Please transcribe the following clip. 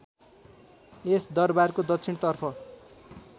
यस दरबारको दक्षिणतर्फ